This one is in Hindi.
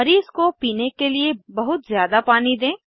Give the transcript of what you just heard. मरीज़ को पीने के लिए बहुत ज़्यादा पानी दें